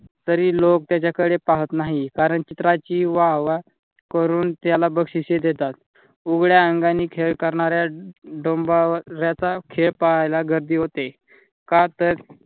तरी लोक त्याच्याकडे पाहत नाहीत. कारण चित्राची वाह वाह करून त्याला बक्षीसे देतात. उघड्या अंगानी खेळकरणाऱ्या डोंबाऱ्याचा खेळ पाहायला गर्दी होते. का तर,